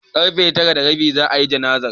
Karfe tara da rabi za'a yi jana'izar.